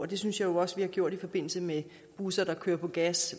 det synes jeg jo også vi har gjort i forbindelse med busser der kører på gas